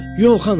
Yox, ana!